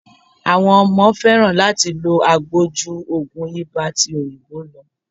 Àwọn ọmọ fẹ́ràn láti lo agbo ju ogun ibà ti òyìnbó lọ.